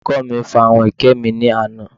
Olùkọ́ mi fa àwọn ẹ̀kẹ́ mi ní àná